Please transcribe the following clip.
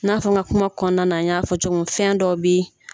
I n'a fɔ n ka kuma kɔnɔna na n y'a fɔ cogo min fɛn dɔw bɛ ye.